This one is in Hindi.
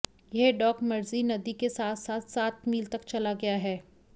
यह डॉक मर्ज़ि नदी के साथ साथ सात मील तक चला गया है